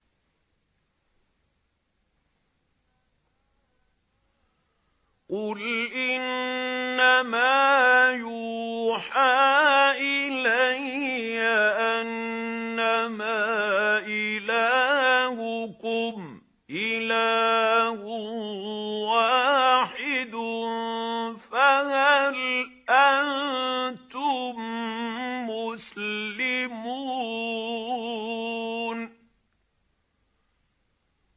قُلْ إِنَّمَا يُوحَىٰ إِلَيَّ أَنَّمَا إِلَٰهُكُمْ إِلَٰهٌ وَاحِدٌ ۖ فَهَلْ أَنتُم مُّسْلِمُونَ